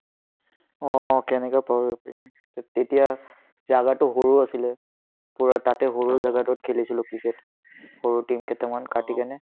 অ, কেনেকুৱা problem তেতিয়া জাগাতো সৰু আছিলে পূৰা তাতে সৰু জাগা টো হ'ল জাগাটোত খেলিছিলো ক্ৰিকেট সৰু team কেটামান পাতি কিনে